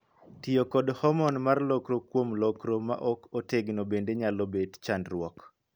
Tiyo kod hormone' mar lokro kuom lokro ma ok otegno bende nyalo bet chandruok.